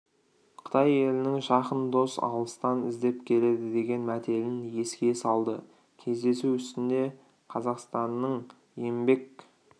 қытай елінің жақын дос алыстан іздеп келеді деген мәтелін еске салды кездесу үстінде қазақстанның еңбек